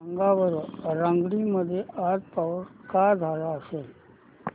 सांगा बरं रंगारेड्डी मध्ये आज पाऊस का झाला असेल